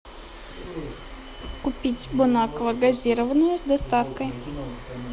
купить бон аква газированную с доставкой